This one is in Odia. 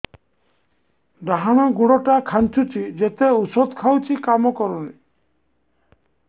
ଡାହାଣ ଗୁଡ଼ ଟା ଖାନ୍ଚୁଚି ଯେତେ ଉଷ୍ଧ ଖାଉଛି କାମ କରୁନି